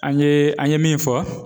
An ye an ye min fɔ.